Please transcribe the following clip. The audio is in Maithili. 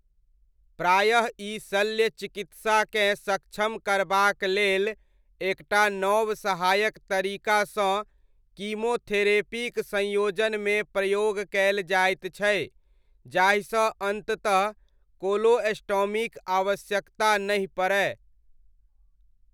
प्रायः ई शल्य चिकित्साकेँ सक्षम करबाक लेल एकटा नव सहायक तरीकासँ कीमोथेरेपीक संयोजनमे प्रयोग कयल जाइत छै जाहिसँ अन्ततः कोलोस्टॉमीक आवश्यकता नहि पड़य।